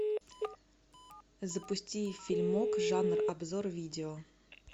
запусти фильмок жанр обзор видео